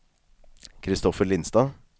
Kristoffer Lindstad